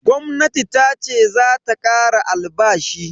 Gwamnati tace zata kara albashi.